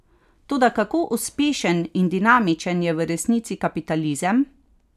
Toda kako uspešen in dinamičen je v resnici kapitalizem?